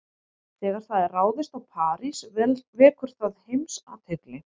Þegar það er ráðist á París vekur það heimsathygli.